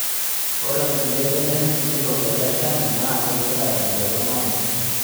Ore nkulie benek sikitok teleshani naa kegila tenchoto nabo